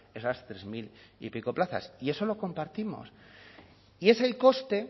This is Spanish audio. esas tres mil y pico plazas y eso lo compartimos y es el coste